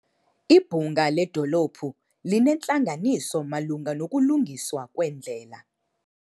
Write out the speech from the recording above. Ibhunga ledolophu linentlanganiso malunga nokulungiswa kweendlela.